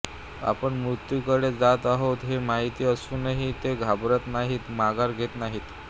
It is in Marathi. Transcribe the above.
आपण मुत्यूकडे जात आहोत हे माहिती असूनही ते घाबरत नाहीत माघार घेत नाहीत